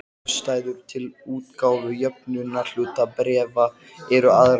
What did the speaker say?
Ástæður til útgáfu jöfnunarhlutabréfa eru aðrar.